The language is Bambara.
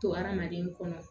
To hadamaden kɔnɔ